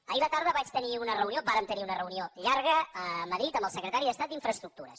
ahir a la tarda vaig tenir una reunió vàrem tenir una reunió llarga a madrid amb el secretari d’estat d’infraestructures